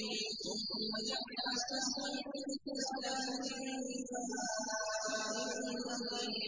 ثُمَّ جَعَلَ نَسْلَهُ مِن سُلَالَةٍ مِّن مَّاءٍ مَّهِينٍ